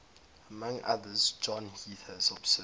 among others john heath has observed